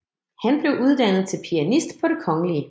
Han blev uddannet til pianist på Det Kgl